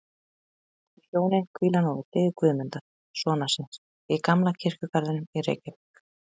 Þau hjónin hvíla nú við hlið Guðmundar, sonar síns, í gamla kirkjugarðinum í Reykjavík.